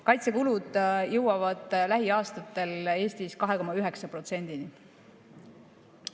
Kaitsekulud jõuavad lähiaastatel Eestis 2,9%‑ni.